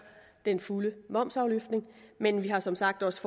den fulde momsafløftning men vi har som sagt også